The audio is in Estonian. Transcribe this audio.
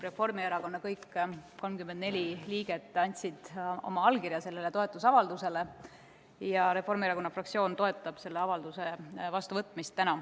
Reformierakonna fraktsiooni kõik 34 liiget andsid sellele toetusavaldusele oma allkirja ja Reformierakonna fraktsioon toetab selle avalduse vastuvõtmist.